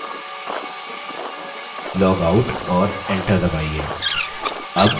logout और enter दबाइए